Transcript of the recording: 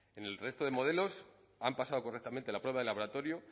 en el resto de modelos han pasado correctamente la prueba de laboratorio